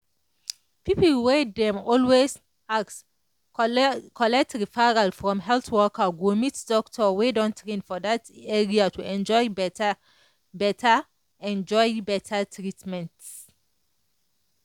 people dey always collect referral from health worker go meet doctor wey don train for that area to enjoy better enjoy better treatment.